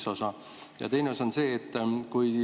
See on üks osa.